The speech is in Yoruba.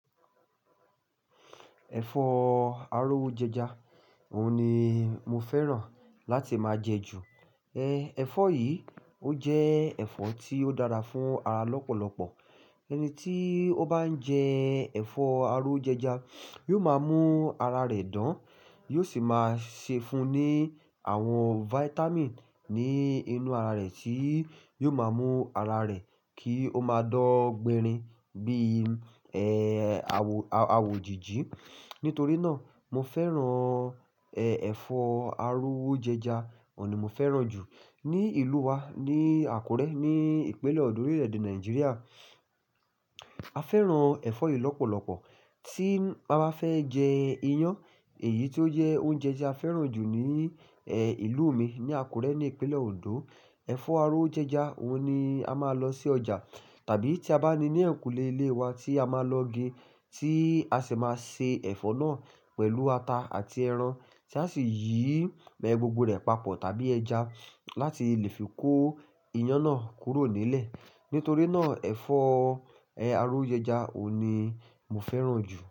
Ẹ̀fọ́ aró ú jẹja, òun ni mo fẹ́ràn láti máa jẹ ju. E, ẹ̀fọ́ yìí ó jẹ́ ẹ̀fọ́ tí ó dára fún ara lọ́pọ̀lọ́pọ̀. Ẹni tí ó bá ń jẹ ẹ̀fọ́ aró ú jẹja, yóò máa mú ara rẹ̀ dán, yóò sì máa ṣe fun ní àwọn vitamin ní inú ara rẹ̀ tí yóò máa mú ara rẹ̀ kí ó máa dọ́gbẹ́rin bí i, e, awò, awò jìjí. Nítorí náà, mo fẹ́ràn, e, ẹ̀fọ́ aró ú jẹja, òun ni mo fẹ́ràn jù. Ní ìlú wa ní Àkúrẹ́, ní ìpínlẹ̀ Òǹdó, orílẹ̀-èdè Nàìjíríà, a fẹ́ràn ẹ̀fọ́ yìí lọ́pọ̀lọ́pọ̀. Tí a bá fẹ́ jẹ iyán, èyí tí ó jẹ́ oúnjẹ tí a fẹ́ràn jù ní, ẹ, ìlú mi ní Àkúrẹ́ ní ìpínlẹ̀ Òǹdó, ẹ̀fọ́ aró wo jẹja òun ni a máa lọ sí ọjà. Tàbí tí a bá ní ní ẹ̀kùlé ilé wa tí a máa lọ gé, tí a sì máa se ẹ̀fọ́ náà pẹ̀lú ata àti ẹran tí a sì yí bẹ gbogbo rẹ̀ papọ̀ tàbí ẹja láti lè fi kó iyán náà kúrò nílẹ̀. Nítorí náà ẹ̀fọ́, e, aró ú jẹja òun ni mo fẹ́ràn jù.